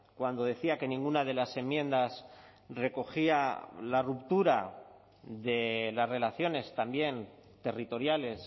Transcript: cuando decía que ninguna de las enmiendas recogía la ruptura de las relaciones también territoriales